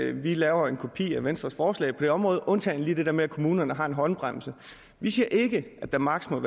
at vi laver en kopi af venstres forslag på det område undtagen lige det der med at kommunerne har en håndbremse vi siger ikke at der maksimum